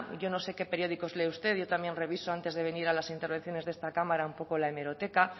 yo no sé qué periódicos lee usted yo también reviso antes de venir a las intervenciones de esta cámara un poco la hemeroteca